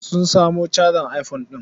Sun samo cajar iphone ɗin.